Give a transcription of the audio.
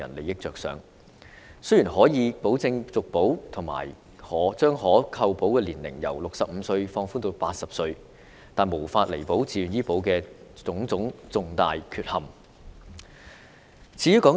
雖然自願醫保可以保證續保和將可投保年齡由65歲放寬至80歲，但亦無法彌補自願醫保的種種重大缺陷。